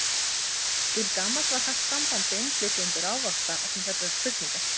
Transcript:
Til gamans var haft samband við innflytjendur ávaxta vegna þessarar spurningar.